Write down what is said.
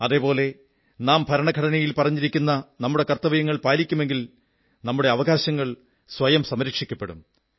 അതേപോലെ നാം ഭരണഘടനയിൽ പറഞ്ഞിരിക്കുന്ന നമ്മുടെ കർത്തവ്യങ്ങൾ പാലിക്കുമെങ്കിലും നമ്മുടെ അവകാശങ്ങൾ സ്വയം സംരക്ഷിക്കപ്പെടും